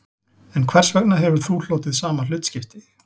En hvers vegna hefur þú hlotið sama hlutskipti